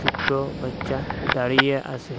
দুটো বাচ্চা দাঁড়িয়ে আসে ।